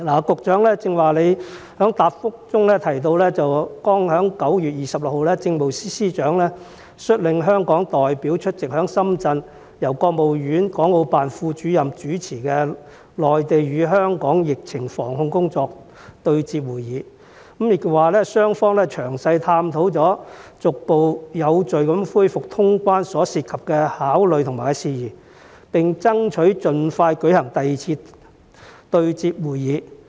局長剛才在答覆中提到，剛剛在9月26日，政務司司長率領香港代表出席在深圳由國務院港澳辦副主任主持的內地與香港疫情防控工作對接會議，雙方詳細探討了逐步有序恢復通關所涉及的考慮和事宜，並爭取盡快舉行第二次對接會議。